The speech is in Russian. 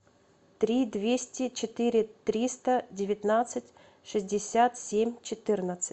три двести четыре триста девятнадцать шестьдесят семь четырнадцать